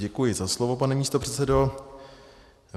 Děkuji za slovo, pane místopředsedo.